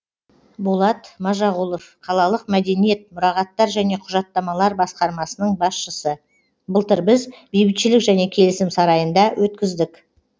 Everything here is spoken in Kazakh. болат мажағұлов қалалық мәдениет мұрағаттар және құжаттамалар басқармасының басшысы былтыр біз бейбітшілік және келісім сарайында өткіздік